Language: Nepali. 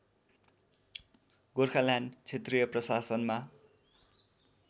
गोर्खाल्यान्ड क्षेत्रीय प्रशासनमा